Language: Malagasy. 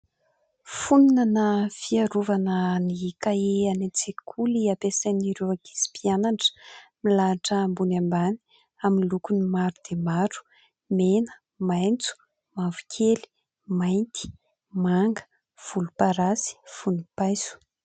Fonina na fiarovana ny kahie any an-tsekoly ampiasain'ireo ankizy mpianatra, milahatra ambony ambany amin'ny lokony maro dia maro : mena, maitso, mavokely, mainty, manga, volomparasy, vonimpaiso.